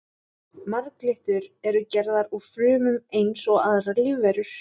Marglyttur eru gerðar úr frumum eins og aðrar lífverur.